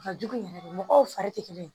Ka jugu yɛrɛ de mɔgɔw fari tɛ kelen ye